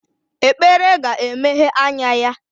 Ekpere ga-emeghe anya ya